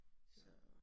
Så